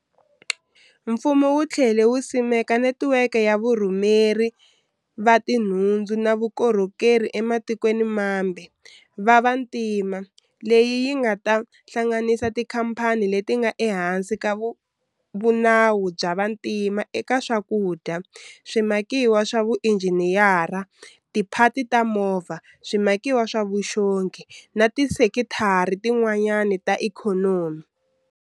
Mfumo wu tlhele wu simeka netiweke ya varhumeli va tinhundzu na vukorhokeri ematikweni mambe va vantima leyi yi nga ta hlanganisa tikhamphani leti nga ehansi ka vunawu bya vantima eka swakudya, swimakiwa swa vuinjhiniyara, tiphati ta mimovha, swimakiwa swa vuxongi na tisekitara tin'wana ta ikhonomi.